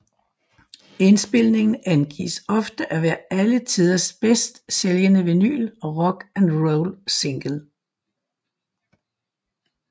Indspilningen angives ofte at være alle tiders bedst sælgende vinyl rock and roll single